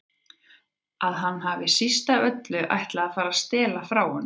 Að hann hafi síst af öllu ætlað að fara að stela frá honum.